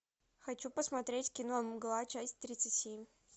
хочу посмотреть кино мгла часть тридцать семь